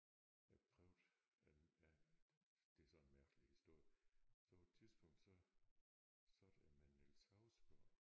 Jeg har prøvet øh ja det er sådan en mærkelig historie så på et tidspunkt så sad jeg med Niels Hausgaard